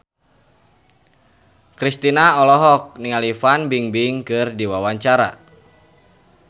Kristina olohok ningali Fan Bingbing keur diwawancara